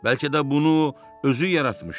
Bəlkə də bunu özü yaratmışdı.